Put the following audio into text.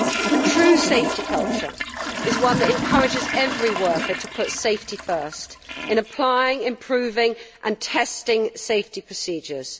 A true safety culture is one that encourages every worker to put safety first in applying, improving and testing safety procedures.